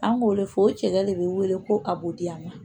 An b'o de fɔ o cɛya de bɛ wele ko a b'o di yan nɔ